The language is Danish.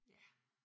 Ja